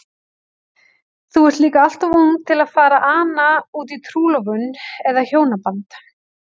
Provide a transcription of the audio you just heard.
Þú ert líka alltof ung til að fara að ana útí trúlofun eða hjónaband.